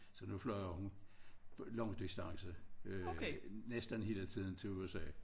Så nu flyver hun langdistance næsten hele tiden til USA